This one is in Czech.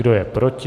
Kdo je proti?